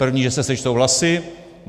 První, že se sečtou hlasy.